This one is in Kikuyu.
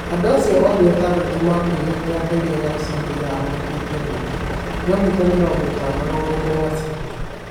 Andũ acio othe atandatũ maakuire rĩrĩa ndege ya uceeri yaahurũkire rũũĩ. Kilomita mĩrongo ĩtano rũgongo rwa Sydney.